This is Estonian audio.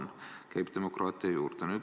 See käib demokraatia juurde.